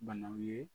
Banaw ye